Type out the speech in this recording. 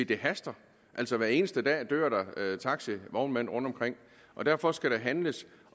det haster hver eneste dag dør der taxivognmænd rundtomkring og derfor skal der handles